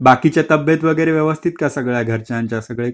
बाकीचे तब्बेत वैगेरे व्यवथित का सागल्या घरच्यांचा सगळे